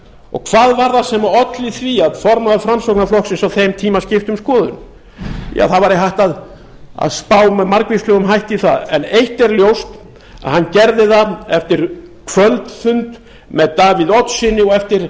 og hvað var það sem olli því að formaður framsóknarflokksins á þeim tíma skipti um skoðun það væri hægt að spá með margvíslegum hætti í það en eitt er ljóst að hann gerði það eftir kvöldfund með davíð oddssyni og eftir